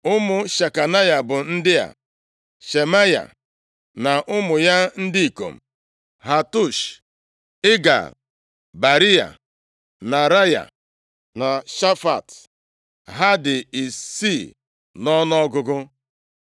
Ụmụ Shekanaya bụ ndị a: Shemaya na ụmụ ya ndị ikom: Hatush, Igal, Bariya, Nearaya na Shafat. Ha dị isii nʼọnụọgụgụ.